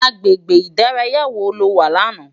Agbégbé idàráyá wó ló wá làná?